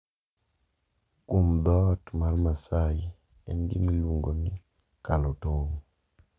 Kuom jo dhoot mar Maasai en gima iluongo ni "kalo tong`"